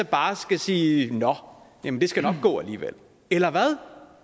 bare skal sige nå jamen det skal nok gå alligevel eller hvad